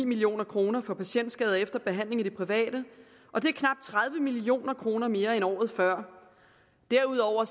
million kroner for patientskader efter behandling i det private og det er knap tredive million kroner mere end året før derudover